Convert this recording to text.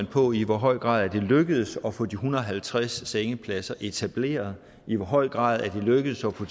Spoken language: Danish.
på i hvor høj grad det er lykkedes at få de en hundrede og halvtreds sengepladser etableret i hvor høj grad det er lykkedes at få